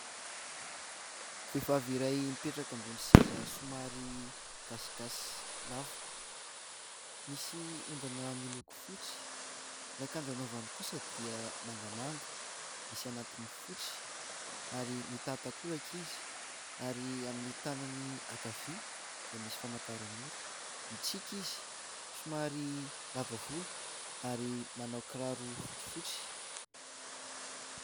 Vehivavy iray mipetraka ambony seza somary gasigasy, lava, misy ondana miloko fotsy. Ny akanjo anaovany kosa dia mangamanga, misy anatiny fotsy, ary mitan-takolaka izy. Ary amin'ny tanany ankavia dia misy famantaran'ora, mitsiky izy, somary lava volo, ary manao kiraro fotsifotsy.